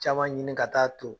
Caman ɲini ka taa ton.